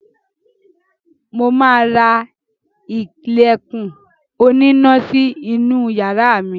Mo ma ra ilẹ̀kùn oníná sí inú yàrá mi